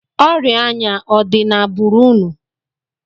Ọrịa anya ọ dị n'agbụrụ unu?